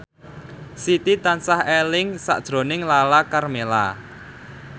Siti tansah eling sakjroning Lala Karmela